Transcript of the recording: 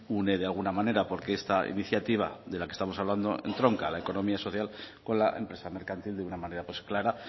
une de alguna manera porque esta iniciativa de la que estamos hablando entronca la economía social con la empresa mercantil de una manera pues clara